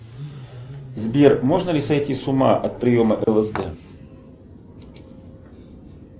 сбер можно ли сойти с ума от приема лсд